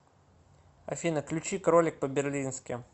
афина ключи кролик по берлински